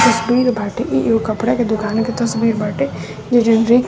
तस्वीर बाटे ये जो कपड़ा के दुकान की तस्वीर बाटे जो